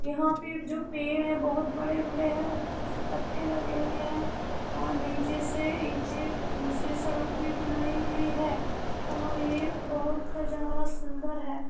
यहाँ पे जो पेड़ हैं बहुत बड़े-बड़े हैं ऊपर से पत्ते लगे हुए हैं और नीचे से ईंटें से सड़क भी बनाई गई है और ये बहुत नजारा सुन्दर है।